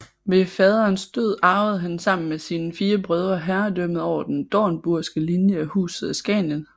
Ved faderens død arvede han sammen med sine fire brødre herredømmet over den dornburgske linje af Huset Askanien